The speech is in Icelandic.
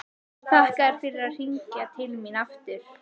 Þakka þér fyrir að hringja til mín aftur.